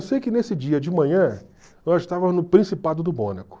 Eu sei que nesse dia de manhã nós estávamos no Principado do Mônaco.